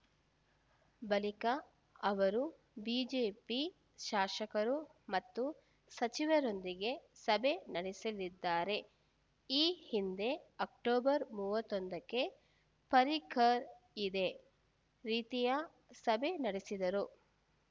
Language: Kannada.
ಬಳಿಕ ಅವರು ಬಿಜೆಪಿ ಶಾಸಕರು ಮತ್ತು ಸಚಿವರೊಂದಿಗೆ ಸಭೆ ನಡೆಸಲಿದ್ದಾರೆ ಈ ಹಿಂದೆ ಅಕ್ಟೋಬರ್ ಮೂವತ್ತೊಂದಕ್ಕೆ ಪರ್ರಿಕರ್‌ ಇದೇ ರೀತಿಯ ಸಭೆ ನಡೆಸಿದ್ದರು